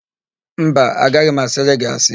Mba, agaghị m asịrị gị asị.